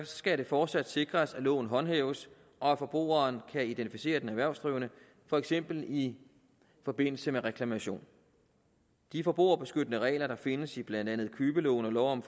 skal det fortsat sikres at loven håndhæves og at forbrugeren kan identificere den erhvervsdrivende for eksempel i forbindelse med reklamation de forbrugerbeskyttende regler der findes i blandt andet købeloven og lov om